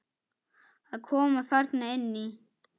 Að koma þarna inn í?